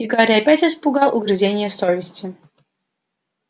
и гарри опять испугал угрызения совести